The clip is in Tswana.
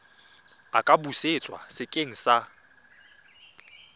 a ka busetswa sekeng sa